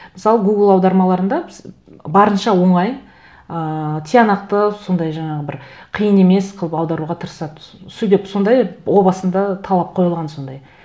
мысалы гугл аудармаларында біз барынша оңай ыыы тиянақты сондай жаңағы бір қиын емес қылып аударуға тырыса түсу деп сондай о басында талап қойылған сондай